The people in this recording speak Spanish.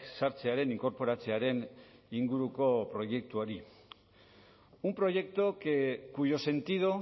sartzearen inkorporatzearen inguruko proiektuari un proyecto que cuyo sentido